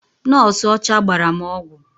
Nọọsụ ọcha gbara m ọgwụ.